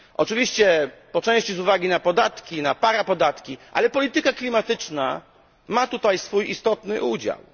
Oczywiście po części z uwagi na podatki, na parapodatki, ale polityka klimatyczna ma tutaj swój istotny udział.